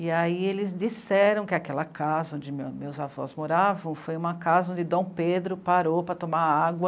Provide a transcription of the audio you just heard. E aí eles disseram que aquela casa onde meus avós moravam foi uma casa onde Dom Pedro parou para tomar água.